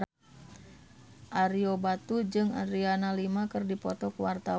Ario Batu jeung Adriana Lima keur dipoto ku wartawan